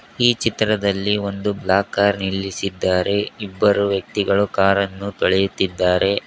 ಈ ಚಿತ್ರದಲ್ಲಿ ಒಂದು ಬ್ಲಾಕ್ ಕಾರ್ ನಿಲ್ಲಿಸಿದ್ದಾರೆ ಇಬ್ಬರು ವ್ಯಕ್ತಿಗಳು ಕಾರ್ ಅನ್ನು ತೊಳೆಯುತ್ತಿದ್ದಾರೆ.